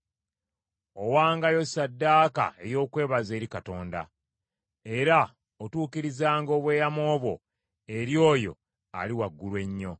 “Owangayo ssaddaaka ey’okwebaza eri Katonda; era otuukirizanga obweyamo bwo eri oyo Ali Waggulu Ennyo.